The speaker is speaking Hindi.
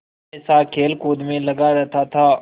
हमेशा खेलकूद में लगा रहता था